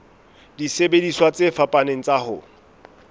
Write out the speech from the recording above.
disebediswa tse fapaneng tsa ho